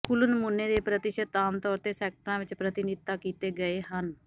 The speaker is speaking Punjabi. ਕੁੱਲ ਨਮੂਨੇ ਦੇ ਪ੍ਰਤੀਸ਼ਤ ਆਮ ਤੌਰ ਤੇ ਸੈਕਟਰਾਂ ਵਿੱਚ ਪ੍ਰਤਿਨਿਧਤਾ ਕੀਤੇ ਗਏ ਹਨ